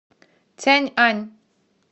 цяньань